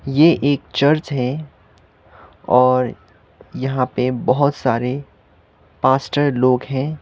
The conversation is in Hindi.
ये एक चर्च है और यहां पे बहोत सारे पास्टर लोग है।